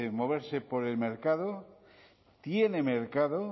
moverse por el mercado tiene mercado